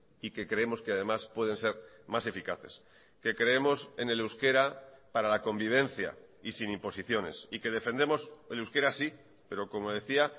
y que creemos que además pueden ser más eficaces que creemos en el euskera para la convivencia y sin imposiciones y que defendemos el euskera sí pero como decía